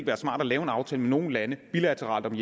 være smart at lave en aftale nogle lande bilateralt